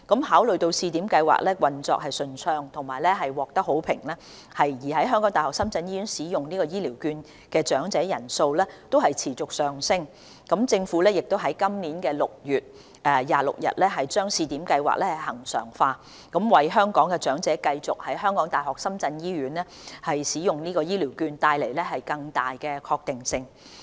考慮到試點計劃運作暢順並獲得好評，而在港大深圳醫院使用醫療券的長者人數亦持續上升，政府已於今年6月26日將試點計劃恆常化，為香港長者繼續在港大深圳醫院使用醫療券帶來更大確定性。